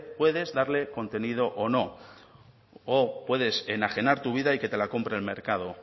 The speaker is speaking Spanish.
puedes darle contenido o no o puedes enajenar tu vida y que te la compre el mercado